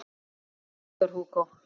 Victor Hugo